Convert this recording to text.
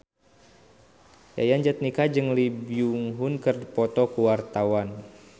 Yayan Jatnika jeung Lee Byung Hun keur dipoto ku wartawan